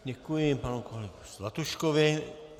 Děkuji panu kolegu Zlatuškovi.